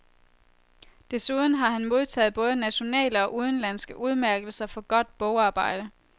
Desuden har han modtaget både nationale og udenlandske udmærkelser for godt bogarbejde.